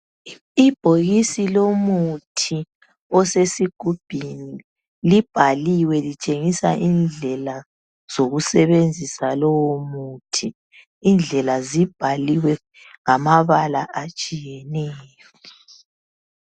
Ibhokisi lomuthi osesigubhini libhaliwe litshengisa indlela zokusebenzisa lowo muthi. Indlela zibhaliwe ngamabala atshiyeneyo.